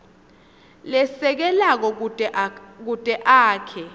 lesekelako kute akhe